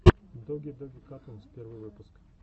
доги доги катунс первый выпуск